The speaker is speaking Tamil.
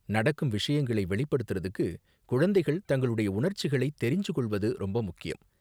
நடக்கும் விஷயங்களை வெளிப்படுத்தறத்துக்கு குழந்தைகள் தங்களுடைய உணர்ச்சிகளை தெரிஞ்சு கொள்வது ரொம்ப முக்கியம்.